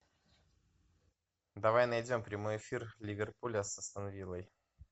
давай найдем прямой эфир ливерпуль с астон виллой